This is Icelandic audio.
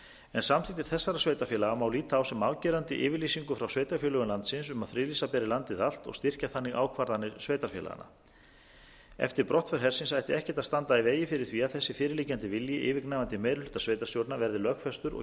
en samþykktir þessara sveitarfélaga má líta á sem afgerandi yfirlýsingu frá sveitarfélögum landsins um að friðlýsa beri landið allt og styrkja þannig ákvarðanir sveitarfélaganna eftir brottför hersins ætti ekkert að standa í vegi fyrir því að þessi fyrir liggjandi vilji yfirgnæfandi meiri hluta sveitarstjórna verði lögfestur og